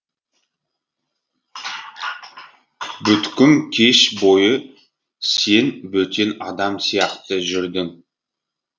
бүткім кеш бойы сен бөтен адам сияқты жүрдің